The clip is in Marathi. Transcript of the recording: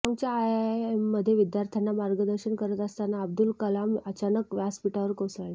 शिलाँगच्या आयआयएममध्ये विद्यार्थ्यांना मार्गदर्शन करत असताना अब्दुल कलाम अचानक व्यासपीठावर कोसळले